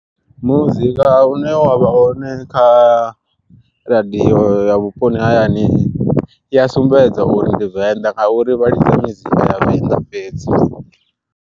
Muzika une wavha hone kha radio ya vhuponi ha hayani i a sumbedza uri ndi venḓa, nga uri vha lidza mizika ya venḓa fhedzi.